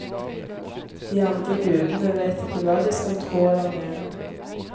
De andre gudene vet ikke hva de skal tro eller mene.